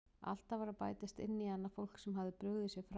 Alltaf var að bætast inn í hana fólk sem hafði brugðið sér frá.